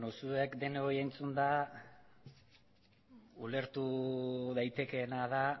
zuek denoi entzunda ulertu daitekeena da